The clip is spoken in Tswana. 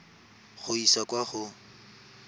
go e isa kwa go